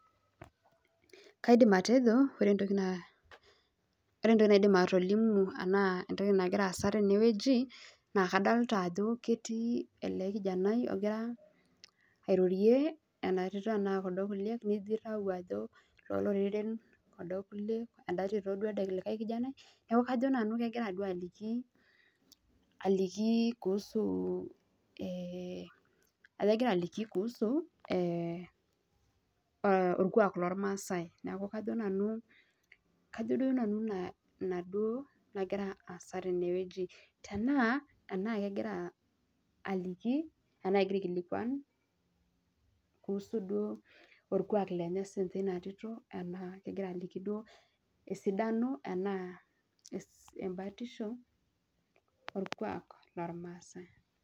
kaidim atejo naa naidim atolimu anaa nagira aasa teneweji naa kadolta ajoo ketii ele kijanai ogira airorie ena tito anaa kulo kuliek nijo ilau ajo loororen kulo kuliek? enda tito ooo elde likai kijanai neaku ajoo nanu egira duo aliki kuhusu olkwak loomaasai neaku kajo nanu inaa nagira aasa tenewueji tenaa anaa kegira aikilikwan kuhusu olkwak lenye sininye inatito anaa kegira aliki esidano anaa embatisho olkwak loolmaasai.